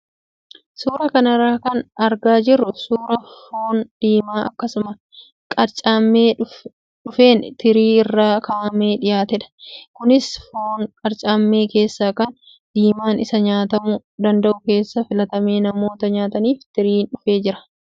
Suuraa kanarraa kan argaa jirru suuraa foon diimaa akkuma qircamee dhufeen tirii irra kaa'amee dhiyaatedha. Kunis foon qircame keessaa kan diimaan isaa nyaatamuu danda'u keessaa filatamee namoota nyaataniif tiriin dhufee jira.